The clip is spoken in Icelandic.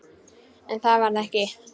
En það varð ekki.